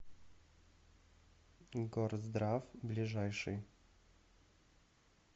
горздрав ближайший